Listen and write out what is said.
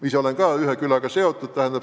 Ise olen ka ühe külaga seotud.